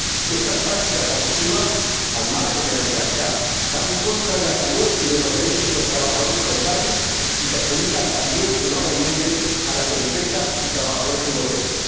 Estas prácticas abusivas, al margen de la legalidad, van en contra de la salud y de los derechos de los trabajadores locales y perjudican también enormemente a las empresas y trabajadores europeos.